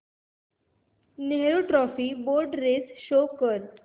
Nehru trophy boat race show कर